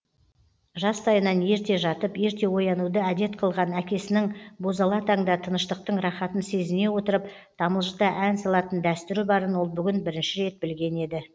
жастайынан ерте жатып ерте оянуды әдет қылған әкесінің бозала таңда тыныштықтың рахатын сезіне отырып тамылжыта ән салатын дәстүрі барын ол бүгін бірінші рет білген еді